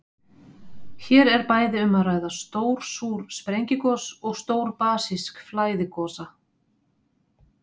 Hér er bæði um að ræða stór súr sprengigos og stór basísk flæðigosa.